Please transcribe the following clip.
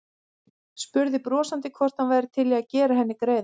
Spurði brosandi hvort hann væri til í að gera henni greiða.